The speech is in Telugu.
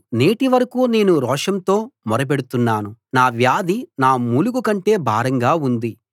నేటివరకూ నేను రోషంతో మొర పెడుతున్నాను నా వ్యాధి నా మూలుగు కంటే భారంగా ఉంది